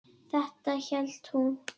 Þetta hélt hún.